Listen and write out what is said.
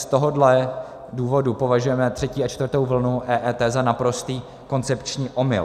Z tohohle důvodu považujeme třetí a čtvrtou vlnu EET za naprostý koncepční omyl.